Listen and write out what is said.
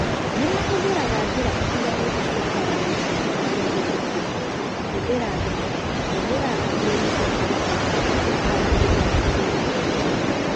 Nĩ mahũthĩraga njĩra itiganĩte cia kwaranĩria nao marĩ mũndũ kĩũmbe, kũhũthĩra thimũ, kũhũthĩra ndũmĩrĩri cia kompiuta na kwaranĩria na agũri nenda-inĩ.